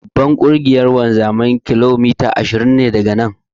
Babban ofishin Ƙungiyar wanzamai kilomita ashirin ne daga nan.